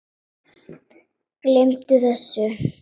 Gleymdu þessu